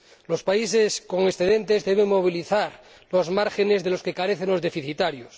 Los países con excedentes deben movilizar los márgenes de los que carecen los deficitarios.